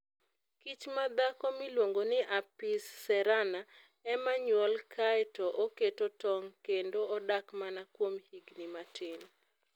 Kich madhako miluongo ni Apis cerana, ema nyuol kae to oketo tong' kendo odak mana kuom higini matin.